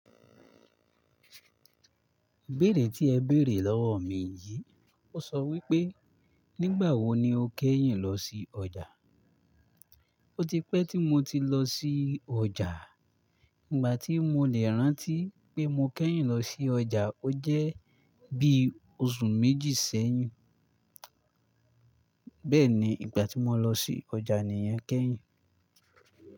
Bẹ́rẹ́ tí ẹ bèrè lọ́wọ̀ mi yìí. Ó sọ wípé, "nígbàwó ni o kẹ́yìn lọ sí ọjà?" Ó ti pẹ́ tí mo ti lọ sí ọjà. Ìgbà tí mo lè rántí pé mó kẹ́yìn lọ sí ọjà ó jẹ́ bí oṣù méjì sẹ́yìn. Bẹ́ẹ̀ni, ìgbà tí mo lọ sí ọjà nìyẹn kẹ́yìn.